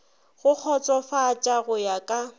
go kgotsofatša go ya ka